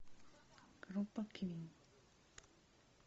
группа квин